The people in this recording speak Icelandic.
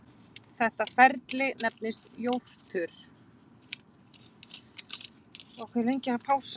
Þetta ferli nefnist jórtur.